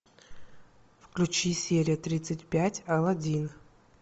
включи серия тридцать пять аладдин